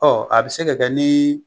a bi se ka kɛ ni